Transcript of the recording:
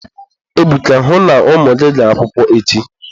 Ebuka, hụ na ụmụ gị gara akwụkwọ echi.